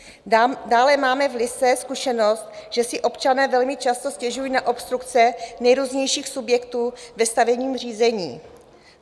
Dále máme v Lysé zkušenost, že si občané velmi často stěžují na obstrukce nejrůznějších subjektů ve stavebním řízení.